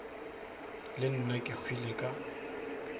le nna ke hwile ka